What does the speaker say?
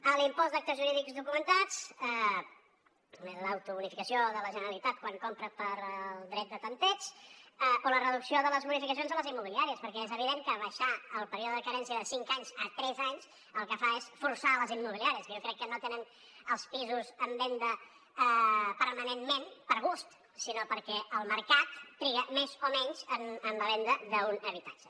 en l’impost d’actes jurídics documentats l’autobonificació de la generalitat quan compra pel dret de tanteig o la reducció de les bonificacions a les immobiliàries perquè és evident que abaixar el període de carència de cinc anys a tres anys el que fa és forçar les immobiliàries que jo crec que no tenen els pisos en venda permanentment per gust sinó perquè el mercat triga més o menys en la venda d’un habitatge